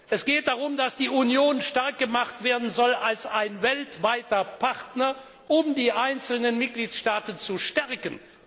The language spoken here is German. Es geht darum, dass die Union stark gemacht werden soll als ein weltweiter Partner, um die einzelnen Mitgliedstaaten zu stärken.